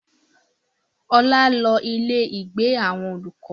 Ọlá lọ ilé ìgbé àwọn olùkọ́